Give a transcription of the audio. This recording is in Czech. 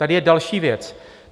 Tady je další věc.